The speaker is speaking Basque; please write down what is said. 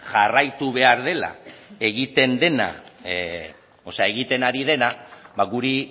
jarraitu behar dela egiten ari dena ba guri